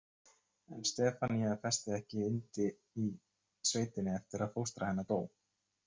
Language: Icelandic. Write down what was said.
En Stefanía festi ekki yndi í sveitinni eftir að fóstra hennar dó.